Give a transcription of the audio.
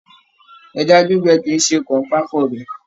Ẹja gbígbẹ kìí ṣe kanpa fún ọbẹ.